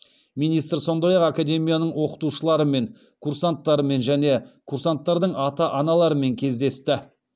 министр сондай ақ академияның оқытушыларымен курсанттарымен және курсанттардың ата аналарымен кездесті